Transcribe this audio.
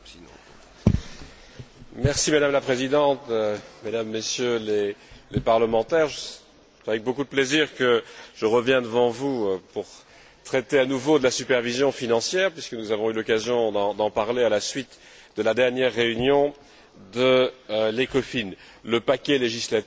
Madame la Présidente, Mesdames et Messieurs les parlementaires, c'est avec beaucoup de plaisir que je reviens devant vous pour traiter à nouveau de la supervision financière, puisque nous avons eu l'occasion d'en parler à la suite de la dernière réunion d'ECOFIN, le paquet législatif sur la supervision